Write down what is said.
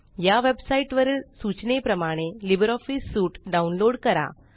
या वेबसाईट वरील सूचनेप्रमाणे लिब्रिऑफिस सूट डाउनलोड करा